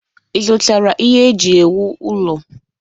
Ị zụtara ihe eji ewu ụlọ?